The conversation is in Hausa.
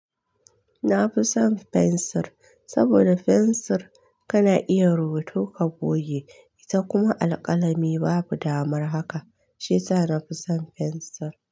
Na fi son fensir, saboda fensir kana iya rubutu ka goge. Ita kuma alƙalami babu damar haka. Shiyasa na fi son fensir.